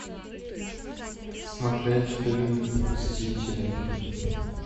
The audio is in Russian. смотреть фильм мстители